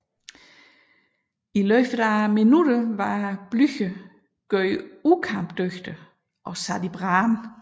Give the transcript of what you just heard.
I løbet af minutter var Blücher gjort ukampdygtig og sat i brand